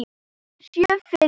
Sjö firðir!